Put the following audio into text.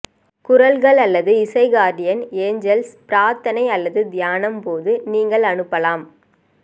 குரல்கள் அல்லது இசை கார்டியன் ஏஞ்சல்ஸ் பிரார்த்தனை அல்லது தியானம் போது நீங்கள் அனுப்பலாம்